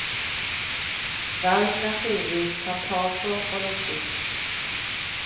Verden er synlig, kan tas på, luktes.